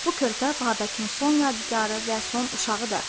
Bu körpə Babəkin son yadigarı və son uşağıdır.